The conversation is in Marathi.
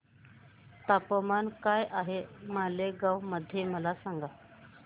तापमान काय आहे मालेगाव मध्ये मला सांगा